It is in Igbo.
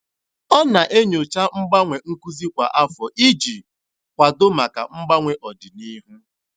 Ọ na-enyocha mgbanwe nkuzi kwa afọ iji kwado maka mgbanwe n'ọdịnihu.